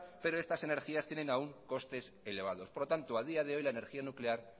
pero estas energías tienen aún costes elevados por lo tanto a día de hoy la energía nuclear